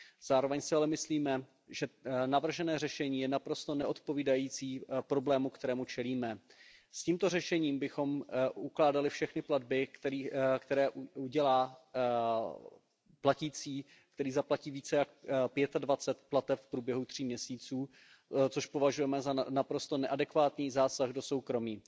Zároveň si ale myslíme, že navržené řešení je naprosto neodpovídající problému, kterému čelíme. S tímto řešením bychom ukládali všechny platby, které udělá platící, který zaplatí více než dvacet pět plateb v průběhu tří měsíců, což považujeme za naprosto neadekvátní zásah do soukromí.